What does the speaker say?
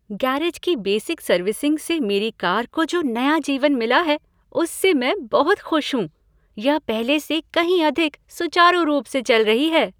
Garage की basic servicing से मेरी कार को जो नया जीवन मिला है उससे मैं बहुत खुश हूँ, यह पहले से कहीं अधिक सुचारू रूप से चल रही है!